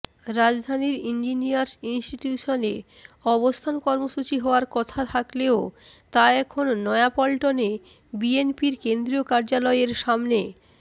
রাজধানীর ইঞ্জিনিয়ার্স ইনস্টিটিউশনে অবস্থান কর্মসূচি হওয়ার কথা থাকলেও তা এখন নয়াপল্টনে বিএনপির কেন্দ্রীয় কার্যালয়ের সামনে